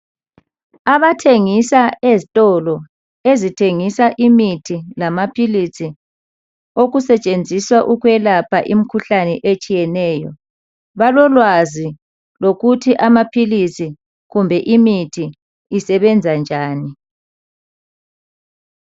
Abathengisa ezitolo ezithengisa imithi lamaphilisi okusetshenziswa ukwelapha imikhuhlane etshiyeneyo balolwazi lokuthi amaphilisi kumbe imithi isebenza njani.